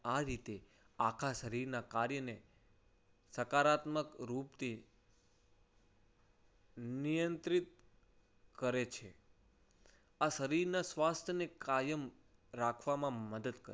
આ રીતે આખા શરીરના કાર્યને સકારાત્મક રૂપથી નિયંત્રિત કરે છે. આ શરીરના સ્વાસ્થ્યને કાયમ રાખવામાં મદદ.